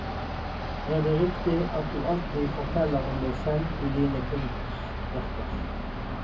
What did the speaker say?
Er det riktig at du alltid forteller om deg selv i dine kunstverker?